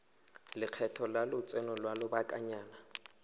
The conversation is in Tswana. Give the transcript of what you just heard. lekgetho la lotseno lwa lobakanyana